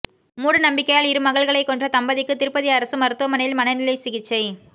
மூடநம்பிக்கையால் இருமகள்களைக் கொன்ற தம்பதிக்கு திருப்பதி அரசு மருத்துமனையில் மனநிலை சிகிச்சை